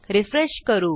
refresh करू